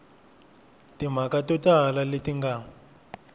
timhaka to tala leti nga